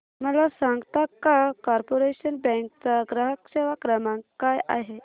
मला सांगता का कॉर्पोरेशन बँक चा ग्राहक सेवा क्रमांक काय आहे